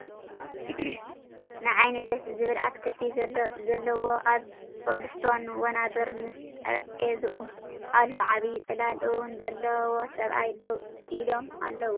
ንዓይኒ ደስ ዝብል ኣትክልቲ ዘለዎ ኣብ ኮብልስቶን ወናብር ምስ ጠረቤዝኡ ኣሎ ዓብይ ፅላል እውን ዘለዎ ሰብኣይ ደው ኢሎም ኣለዉ ።